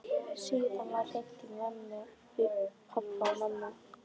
Síðan var hringt í pabba og mömmu.